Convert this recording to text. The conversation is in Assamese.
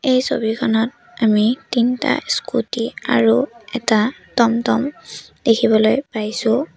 এই ছবিখনত আমি তিনটা স্কুটী আৰু এটা টমটম দেখিবলৈ পাইছোঁ।